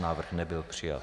Návrh nebyl přijat.